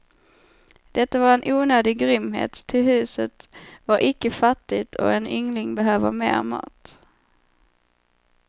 Detta var en onödig grymhet, ty huset var icke fattigt och en yngling behöver mer mat.